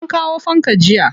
An kawo fanka jiya.